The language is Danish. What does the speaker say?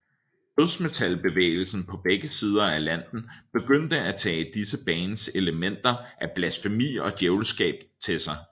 Dødsmetalbevægelsen på begge sider af Atlanten begyndte at tage disse bands elementer af blasfemi og djævelskab til sig